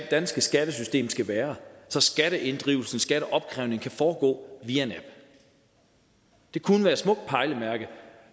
danske skattesystem skal være så skatteinddrivelsen skatteopkrævningen kan foregå via en app det kunne være et smukt pejlemærke og